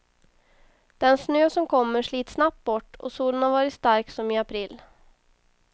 Den snö som kommer slits snabbt bort och solen har varit stark som i april.